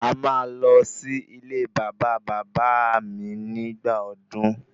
A máa lọ sí ilé bàbá bàbá áà mi nígbà ọdún